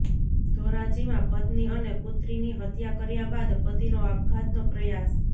ધોરાજીમાં પત્ની અને પુત્રની હત્યા કર્યા બાદ પતિનો આપઘાતનો પ્રયાસ